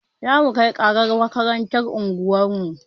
Zamu kai ƙarar makarantar unguwarmu